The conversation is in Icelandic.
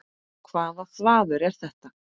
Hvaða þvaður er þetta?